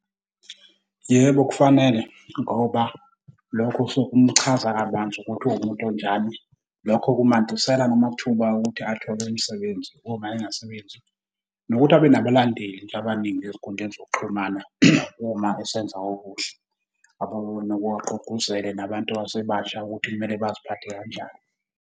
Yebo kufanele, ngoba lokhu kusuke kumuchaza kabanzi ukuthi uwumuntu onjani. Lokho kumandisela namathuba okuthi athole imisebenzi uma engasebenzi nokuthi abe nabalandeli abaningi ezinkundleni zokuxhumana uma esenza okuhle. agqugquzele nabantu abasebasha ukuthi kumele baziphathe kanjani.